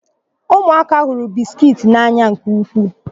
Ụmụaka hụrụ bisikiiti n'anya nke ukwuu.